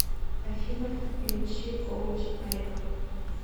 афина включи коуч алика